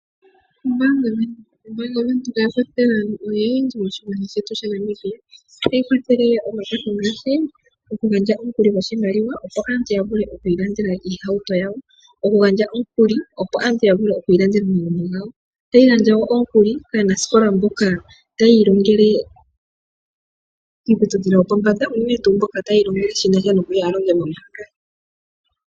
Ombaanga Windhoek, ombaanga ya Windhoek oya kwathela aantu oyendji moshilongo shetu sha Namibia. Oha yi kwathele omakwatho ngaashi, okugandja omukuli goshimaliwa opo aantu ya vule okwiilandela iihauto yawo. Oku gandja omukuli opo aantu ya vule okwiilandela omagumbo gawo. Ota yi gandja woo omukuli kaa nasikola mboka taya iilongele kiiputudhilo yopombanda, uunene tuu mboka ta ya iilongele shi nasha noku ya alonge mombaanga.